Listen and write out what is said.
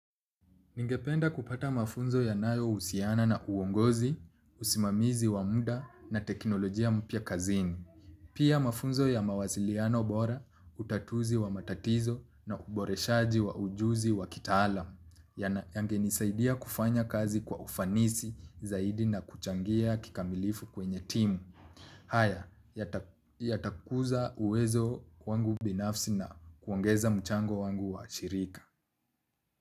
Ningependa kupata mafunzo yanayo husiana na uongozi, usimamizi wa muda na teknolojia mpya kazini. Pia mafunzo ya mawaziliano bora, utatuzi wa matatizo na uboreshaji wa ujuzi wa kitaalamu, yangenisaidia kufanya kazi kwa ufanisi zaidi na kuchangia kikamilifu kwenye timu. Haya yatakuza uwezo wangu binafsi na kuongeza mchango wangu wa shirika.